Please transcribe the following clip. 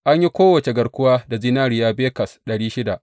An yi kowace garkuwa da zinariya bekas ɗari shida.